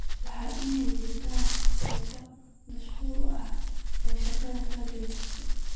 Waa in ay jiraan sababo macquul ah oo shaqo ka joojinta.